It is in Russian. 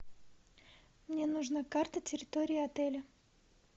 мне нужна карта территории отеля